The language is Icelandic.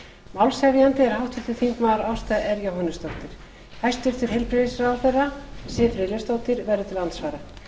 málshefjandi er háttvirtur þingmaður ásta r jóhannesdóttir hæstvirtur heilbrigðisráðherra siv friðleifsdóttir verður til andsvara